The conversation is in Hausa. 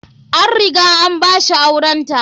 An riga an ba shi aurenta.